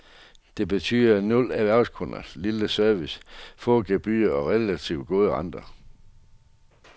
Det betyder nul erhvervskunder, lille service, få gebyrer og relativt gode renter.